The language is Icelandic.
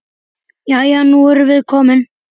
Jæja, nú erum við komin.